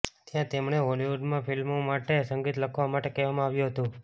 ત્યાં તેમણે હોલિવુડમાં ફિલ્મો માટે સંગીત લખવા માટે કહેવામાં આવ્યું હતું